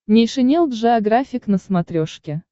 нейшенел джеографик на смотрешке